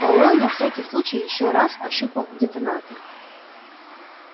пауэлл на всякий случай ещё раз ощупал детонатор